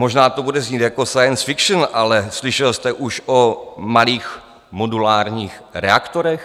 Možná to bude znít jako science-fiction, ale slyšel jste už o malých modulárních reaktorech?